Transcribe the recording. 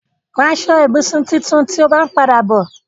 Ra aṣọ-ìbùsùn tuntun tí o bá ń padà bọ̀.